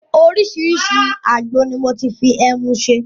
Oriṣiriṣi àgbo ni mo ti fi ẹmu ṣe.